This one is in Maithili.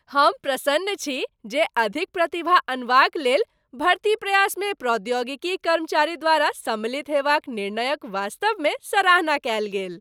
हम प्रसन्न छी जे अधिक प्रतिभा अनबाक लेल भर्ती प्रयासमे प्रौद्योगिकी कर्मचारी द्वारा सम्मिलित हेबाक निर्णयक वास्तवमे सराहना कयल गेल।